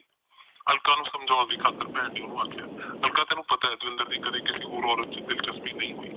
ਅਲਕਾ ਨੂੰ ਸਮਜੋਨ ਦੀ ਖਾਤਰ ਭੈਣ ਨੇ ਉਹਨੂੰ ਆਖਿਆ ਅਲਕਾ ਤੈਨੂੰ ਪਤਾ ਦਵਿੰਦਰ ਦੀ ਕਦੇ ਕਿਸੇ ਹੋਰ ਔਰਤ ਵਿੱਚ ਦਿਲਚਸਪੀ ਨਹੀਂ ਹੋਈ